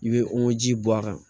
I bɛ o ji bɔ a kan